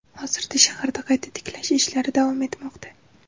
Hozirda shaharda qayta tiklash ishlari davom etmoqda .